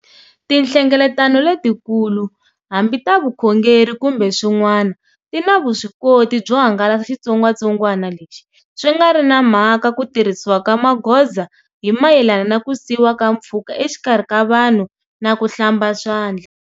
Tinhlengeletano letikulu, hambi ta vukhongeri kumbe swin'wana, ti na vuswikoti byo hangalasa xitsongwatsongwana lexi, swi nga ri na mhaka ku tirhisiwa ka magoza hi mayelana na ku siyiwa ka mpfhuka exikarhi ka vanhu na ku hlamba swandla.